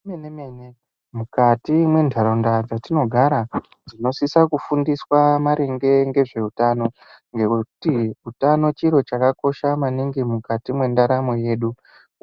Zvemenemene mukati mendaraunda dzatinogara tinosisa kufundiswa maringe ngezveutano ngekuti utano chiro chakakosha maningi mukati mwendaramo yedu